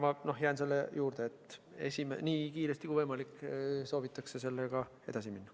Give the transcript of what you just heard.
Ma jään selle juurde, et nii kiiresti kui võimalik soovitakse sellega edasi minna.